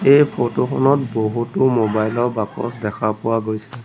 এই ফটো খনত বহুতো মোবাইল ৰ বাকচ দেখা পোৱা গৈছে।